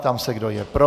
Ptám se, kdo je pro.